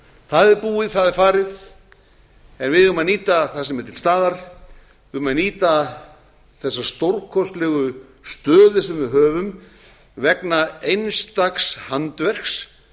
það er búið það er farið en við eigum að nýta það sem er til staðar við eigum að nýta þessa stórkostlegu stöðu sem við höfum vegna einstaks handverks